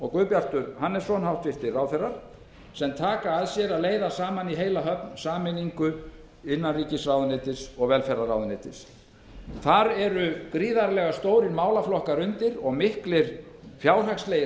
og guðbjarti hannessyni hæstvirtum ráðherrum sem taka að sér að leiða saman í heila höfn sameiningu innanríkisráðuneytis og velferðarráðuneytis þar undir eru gríðarlega stórir málaflokkar og miklir fjárhagslegir